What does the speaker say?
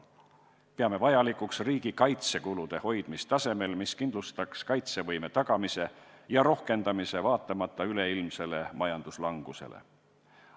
Peame vajalikuks riigi kaitsekulude hoidmist tasemel, mis kindlustaks kaitsevõime tagamise ja rohkendamise, vaatamata üleilmsele majanduslangusele.